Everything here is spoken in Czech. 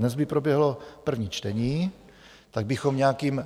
Dnes by proběhlo první čtení, tak bychom nějakým